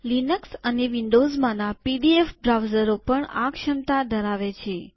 Linux અને વિન્ડોવ્સમાંના PDF બ્રાઉઝરો પણ આ ક્ષમતા ધરાવે છે